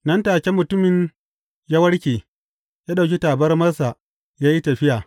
Nan take mutumin ya warke; ya ɗauki tabarmarsa ya yi tafiya.